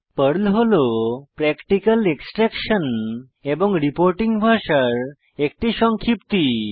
Perl হল practical extraction এবং reporting ভাষার একটি সংক্ষিপ্তি